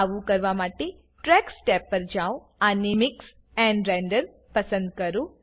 આવું કરવા માટે ટ્રેક્સ ટેબ પર જાવ અને મિક્સ એન્ડ રેન્ડર પસંદ કરો